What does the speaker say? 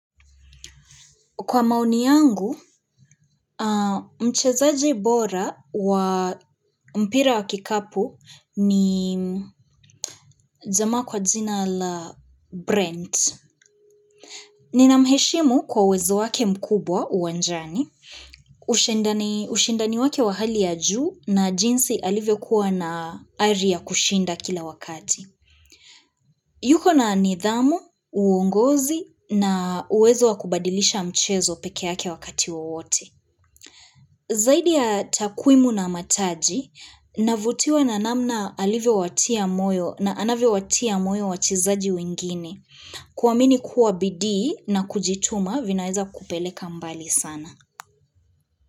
Kwa maoni yangu, mchezaji bora wa mpira wa kikapu ni jamaa kwa jina la Brent. Ni na mheshimu kwa uwezo wake mkubwa uwanjani. Ushindani wake wa hali ya juu na jinsi alivyo kuwa na ari ya kushinda kila wakati. Yuko na nidhamu, uongozi na uwezo wa kubadilisha mchezo pekea yake wakati wa wote. Zaidi ya takuimu na mataji, navutiwa na namna alivyo watia moyo na anavyo watia moyo wachizaji wengine kuamini kuwa bidii na kujituma vinaeza kupeleka mbali sana.